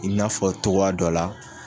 I n'a fɔ cogoya dɔ la